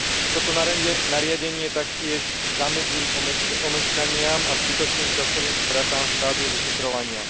Toto nariadenie taktiež zamedzí omeškaniam a zbytočným časovým stratám v štádiu vyšetrovania.